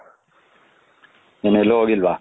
ಏನ್ ಎಲ್ಲೂ ಹೋಗಿಲ್ವ?